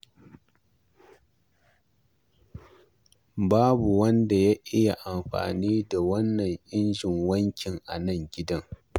Babu wanda ya iya amfani da wannan injin wankin a nan gidan.